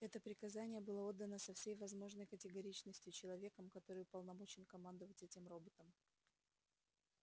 это приказание было отдано со всей возможной категоричностью человеком который уполномочен командовать этим роботом